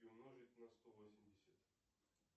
и умножить на сто восемьдесят